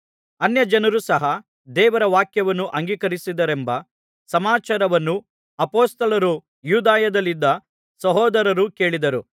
ಅನ್ಯಜನರು ಸಹ ದೇವರ ವಾಕ್ಯವನ್ನು ಅಂಗೀಕರಿಸಿದರೆಂಬ ಸಮಾಚಾರವನ್ನು ಅಪೊಸ್ತಲರೂ ಯೂದಾಯದಲ್ಲಿದ್ದ ಸಹೋದರರೂ ಕೇಳಿದರು